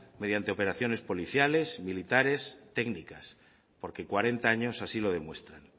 mediante operaciones policiales militares técnicas porque cuarenta años así lo demuestran